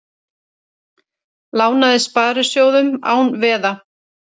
Lánaði sparisjóðum án veða